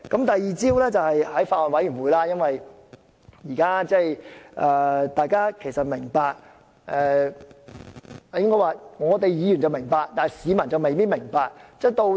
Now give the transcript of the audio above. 第二招，就是在法案委員會......大家都明白，我應該說"議員會明白，但市民未必明白"。